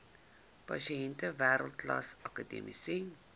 pasiënte wêreldklas akademiese